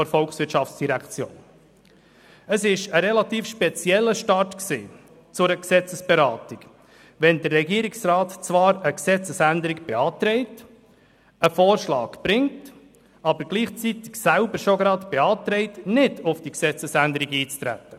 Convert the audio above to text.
Es war ein relativ spezieller Start zu einer Gesetzesberatung, wenn der Regierungsrat zwar eine Gesetzesänderung beantragt, einen Vorschlag bringt, gleichzeitig aber selbst schon beantragt, nicht auf diese einzutreten.